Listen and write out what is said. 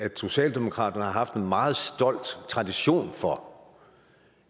socialdemokratiet har haft en meget stolt tradition for